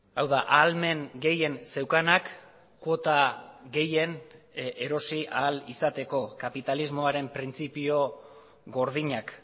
hau da ahalmen gehien zeukanak kuota gehien erosi ahal izateko kapitalismoaren printzipio gordinak